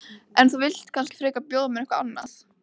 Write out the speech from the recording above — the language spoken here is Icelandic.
En þú vilt kannski frekar bjóða mér eitthvað annað?